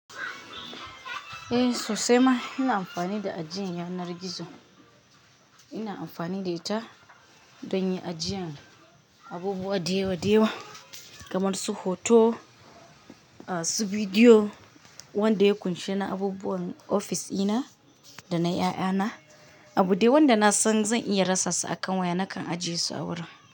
Eh sosai ma ina amfani da ajiyan yanar gizo. Ina amfani da ita don yin ajiyan abubuwa da yawa da yawa kamar su hoto, su bidiyo, wanda ya ƙunshi na abubuwan ofis ina da na 'ya'yana, abu dai wanda na san zan iya rasassa a kan waya nakan ajiye su a wurin.